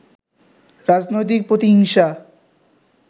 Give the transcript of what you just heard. রাজনৈতিক প্রতিহিংসা